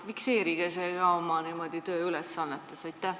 Fikseerige see ka oma tööülesannetes!